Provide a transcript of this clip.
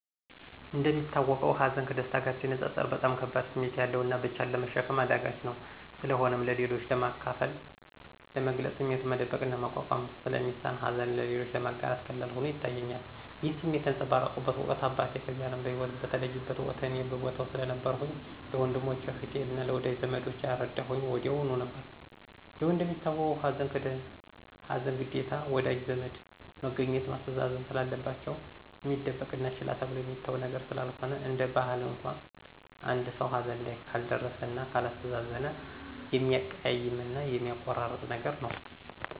እንደሚታወቀው ሀዘን ከደስታ ጋር ሲነፃፀር በጣም ከባድ ስሜት ያለውና ብቻን ለመሸከም አዳጋች ነው። ስለሆነም ለሌሎች ለማካፈል፥ ለመግለፅ ስሜቱን መደበቅና መቋቋም ስለሚሳን ሀዘንን ለሌሎች ለማጋራት ቀላል ሆኖ ይታየኛል። ይህን ስሜት ያንፀባረኩበት ወቅት አባቴ ከዚህ አለም በሂወት በተለየበት ወቅት እኔ በቦታው ስለነበርኩኝ ለወንድሞቸ፥ አህቴ አና ለወዳጂ ዘመዶቸ ያረዳሁኝ ወዲያሁኑ ነበር። ያው እንደሚታወቀው ሀዘን ግዴታ ወዳጅ ዘመድ መገኘትና ማስተዛዘን ስላለባቸው፣ እሚደበቅና ችላ ተብሎ የሚተው ነገር ስላልሆነ፤ እንደ ባህል እንኳን አንድ ሰው ሀዘን ላይ ካልደረ እና ካላስተዛዘነ የሚያቀያይምና የሚያቆራርጥ ነገር ነው።